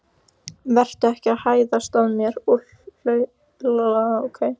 Vertu ekki að hæðast að mér og hlutskipti mínu.